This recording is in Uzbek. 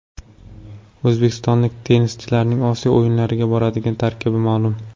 O‘zbekistonlik tennischilarning Osiyo o‘yinlariga boradigan tarkibi ma’lum.